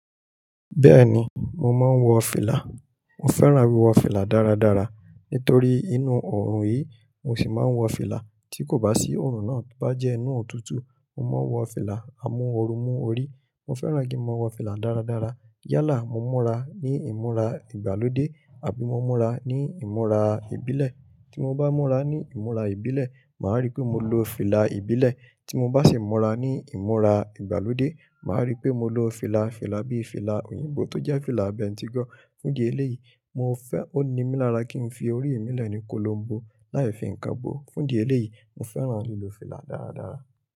Bẹ́ẹ̀ni, mo máa ń wọ fìlà. Mo fẹ́ràn wíwọ fìlà dáradára. Nítorí inú oòrùn yìí, mo se máa ń wọ fìlà. Tí kò bá sí òrùn náà, ti o bá jẹ́ inú òtútù, mo máa wọ fìlà amúorumú orí. Mo fẹ́ràn kí n máa wọ fìlà dáradára. Yálà mo múra ní ìmúra ìgbàlódé àbí mo múra ní ìmúra ìbílẹ̀. Tí mo bá múra ní ìmúra ìbílẹ̀, màá rí pé mo lo fìlà ìbílẹ̀. Tí mo bá sì múra ní ìmúra ìgbàlódé, màá rí pé mo lo fìlà, fìlà bíi fìlà òyìnbó tó jẹ́ fìlà bẹ́ntigọ̀. Fún idí eléyì, mo fẹ́, ó ni mí lára kí n fi orí mí lẹ́ ni kólo bo láì fi ǹkan bo. Fún idí eléyì, mo fẹ́ràn lílọ fìlà dáradára.